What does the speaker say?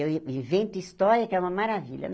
E eu i invento história, que é uma maravilha.